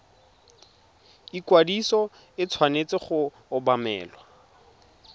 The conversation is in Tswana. ikwadiso e tshwanetse go obamelwa